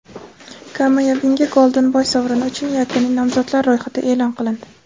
Kamavinga: "Golden boy" sovrini uchun yakuniy nomzodlar ro‘yxati e’lon qilindi;.